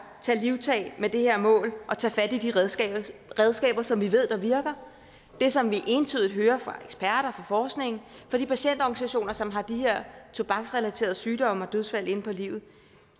tage livtag med det her mål og tage fat i de redskaber redskaber som vi ved virker det som vi entydigt hører fra eksperter fra forskningen fra de patientorganisationer som har de her tobaksrelaterede sygdomme og dødsfald inde på livet